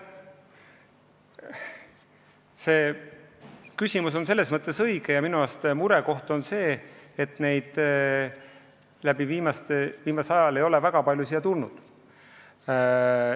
See küsimus on selles mõttes õige, et meid teeb murelikuks, et neid viimasel ajal ei ole väga palju siia tulnud.